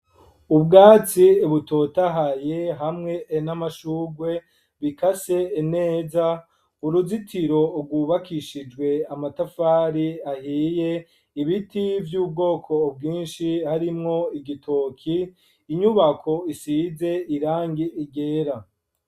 Ubwatsi butotahaye hamwe n'amashugwe bikase neza, uruzitiro rwubakishijwe amatafari ahiye, ibiti vy'ubwoko bwinshi harimwo igitoke, inyubako isize irangi ryera.